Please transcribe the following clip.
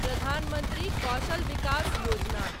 प्रधान मंत्री कौशल विकास योजना